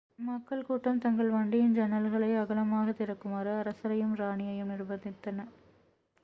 மக்கள் கூட்டம் தங்கள் வண்டியின் ஜன்னல்களை அகலமாகத் திறக்குமாறு அரசரையும் ராணியையும் நிர்ப்பந்தித்தன